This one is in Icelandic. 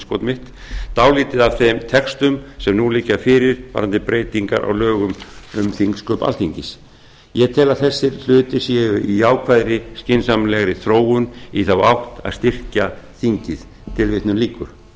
forsætisráðherra dálítið af þeim textum sem nú liggja fyrir varðandi breytingar á lögum um þingsköp alþingis ég tel að þessir hlutir séu í jákvæðri skynsamlegri þróun í þá átt að styrkja þingræðið